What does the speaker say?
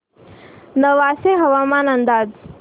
नेवासे हवामान अंदाज